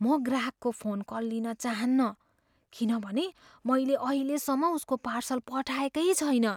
म ग्राहकको phone call लिन चाहन्नँ किनभने मैले अहिलेसम्म उसको पार्सल पठाएकै छैन।